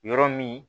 Yɔrɔ min